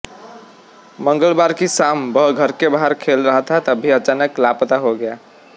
मंगलवार की शाम वह घर के बाहर खेल रहा था तभी अचानक लापता हो गया